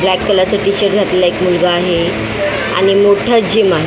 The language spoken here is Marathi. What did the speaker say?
ब्लॅक कलरचा टी_शर्ट घातलेला एक मुलगा आहे आणि मोठं जिम आहे.